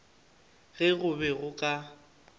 ge go be go ka